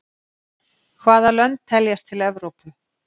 Hvaða lönd teljast til Evrópu?